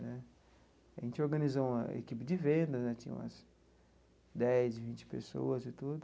Né a gente organizou uma equipe de venda né, tinha umas dez, vinte pessoas e tudo.